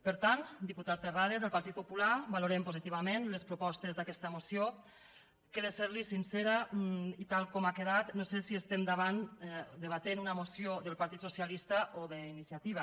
per tant diputat terrades el partit popular valorem positivament les propostes d’aquesta moció que si li sóc sincera i tal com ha quedat no sé si estem debatent una moció del partit socialista o d’iniciativa